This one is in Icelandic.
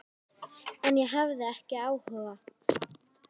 En ég hafði ekki áhuga.